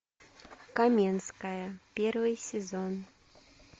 каменская первый сезон